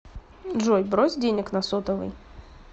джой брось денег на сотовый